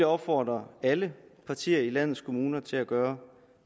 opfordre alle partier i landets kommuner til at gøre